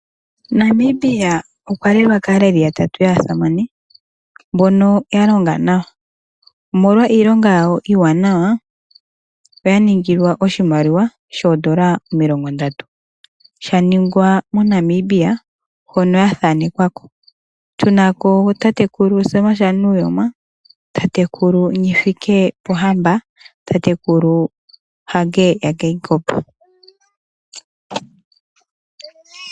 Namibia okwa lelwa kaaleli yatatu yaasamane mbono ya longa nawa. Omolwa iilonga yawo iiwanawa oya ningilwa oshimaliwa shoodola omilongo ndatu, sha ningwa moNamibia hono ya thanekwa ko. Tu na ko tatekulu Sam shaNuujoma, tatekulu Nghifikepunye Pohamba natatekulu Hage yaGeingob